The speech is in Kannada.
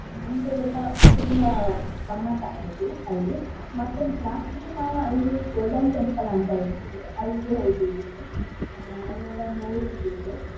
ನಮ್ದು ಎಲ್ಲಾ ತುಂಬಾ ಗಮ್ಮತಾಯ್ತು ಅಲ್ಲಿ. ಮತ್ತೆ last ಗೆ ನಾವು ಅಲ್ಲಿ Golden Temple ಅಂತ ಇತ್ತು ಅಲ್ಲಿಗೆ ಹೋದಿದ್ವಿ. ಆಹ್ ಅಲ್ಲಿ ಎಲ್ಲಾ ನೋಡಿದ್ದೇವೆ.